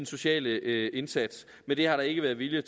sociale indsats men det har der ikke været vilje